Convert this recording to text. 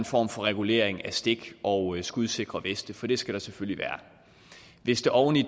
form for regulering af stik og skudsikre veste for det skal der selvfølgelig være hvis det oven i